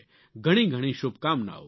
ઘણી ઘણી શુભકામનાઓ